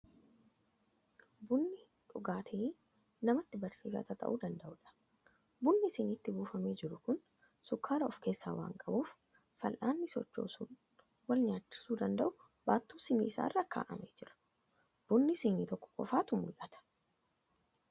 Bunni dhugaatii namatti barsiifata ta'uu danda'udha. Bunni shiniitti buufamee jiru kun shukkaara of keessaa waan qabuuf, fal'aanni sochoosuun wal nyaachisuu danda'u baattuu shinii kana irra kaa'amee jira. Buna shinii tokko qofaatu mul'ata.